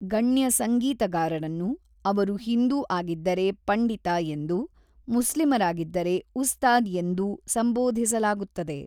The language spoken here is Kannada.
ಗಣ್ಯ ಸಂಗೀತಗಾರರನ್ನು, ಅವರು ಹಿಂದೂ ಆಗಿದ್ದರೆ ಪಂಡಿತ ಎಂದೂ, ಮುಸ್ಲಿಮರಾಗಿದ್ದರೆ ಉಸ್ತಾದ್‌ ಎಂದೂ ಸಂಬೋಧಿಸಲಾಗುತ್ತದೆ.